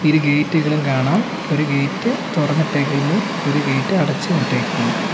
ഇരുഗേറ്റുകളും കാണാം ഒരു ഗേറ്റ് തുറന്നിട്ടേക്കുന്നു ഒരു ഗേറ്റ് അടച്ചും ഇട്ടേക്കുന്നു.